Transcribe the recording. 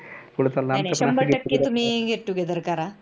नाही नाही शंभर टक्के तुम्ही get together करा